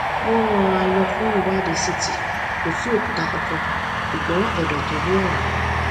wọn rán an lọ fún ìwádìí ct kò sí òkúta kankan ṣùgbọn ẹdọ tó ní ọrá